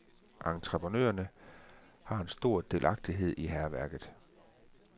Entreprenørerne har en stor delagtighed i hærværket.